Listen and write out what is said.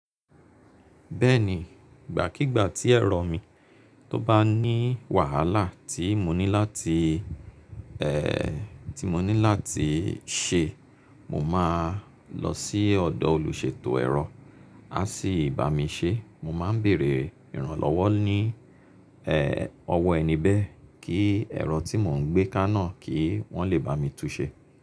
Bẹ́ẹ̀ni, ìgbàkígbà tí ẹ̀rọ mi tó bá ní wàhálà tí mo ní láti, tí mo ní láti ṣe, mo máa lọ sí ọ̀dọ̀ olùṣètò ẹ̀rọ, a sì bá mi ṣe. Mo máa ń bèèrè ìrànlọ́wọ́ ní, ọwọ́ ẹni bẹ́ẹ̀ kí ẹ̀rọ tí mò ń gbé ká náà kí wọ́n le bá mi tun ṣe.